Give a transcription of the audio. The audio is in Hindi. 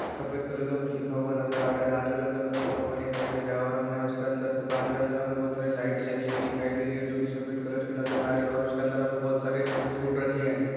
सफेद कलर का कुछ लिखा हुआ नजर आ रहा है लाल कलर का कुछ लिखा हुआ दिखाई दे रहा है और हमें उसके अंदर दुकान के अंदर हमें बहुत सारी लाइटे लगी हुई दिखाई दे रही है जो की सफेद कलर की नजर आ रहे हैं और उसके अंदर हमें बहुत सारे फ्रूट रखे हैं।